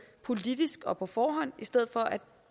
politisk og på forhånd i stedet for at